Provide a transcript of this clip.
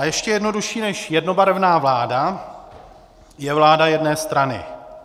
A ještě jednodušší než jednobarevná vláda je vláda jedné strany.